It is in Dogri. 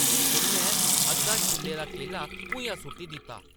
उʼन्नै अद्धा छिल्ले दा केला भुञां सु’ट्टी दित्ता ।